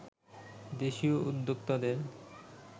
দেশীয় উদ্যোক্তাদের